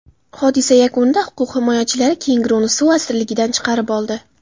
Hodisa yakunida huquq himoyachilari kenguruni suv asirligidan chiqarib oldi.